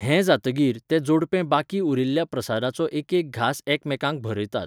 हें जातकीर, तें जोडपें बाकी उरिल्ल्या प्रसादाचो एकेक घांस एकामेकांक भरयतात.